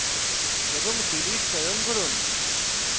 এবং delete চয়ন করুন